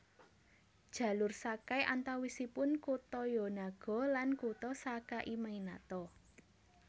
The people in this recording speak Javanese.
Jalur Sakai antawisipun kutha Yonago lan kutha Sakaiminato